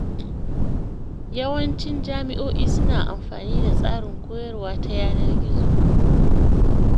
Yawancin jami’o’i suna amfani da tsarin koyarwa ta yanar gizo.